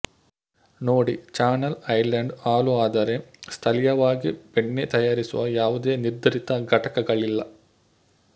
ನೋಡಿ Channel Island ಹಾಲು ಆದರೆ ಸ್ಥಳೀಯವಾಗಿ ಬೆಣ್ಣೆ ತಯಾರಿಸುವ ಯಾವುದೇ ನಿರ್ಧರಿತ ಘಟಕಗಳಿಲ್ಲ